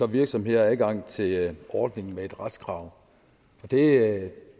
virksomheder adgang til ordningen med et retskrav det